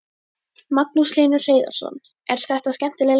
Magnús Hlynur Hreiðarsson: Er þetta skemmtileg lesning?